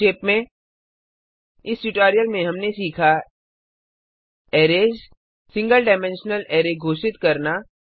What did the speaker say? संक्षेप में इस ट्यूटोरियल में हमने सीखा arrays single dimensional array single dimensional arrays घोषित करना